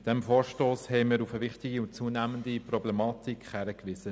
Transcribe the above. Mit diesem Vorstoss haben wir auf eine wichtige und zunehmende Problematik hingewiesen.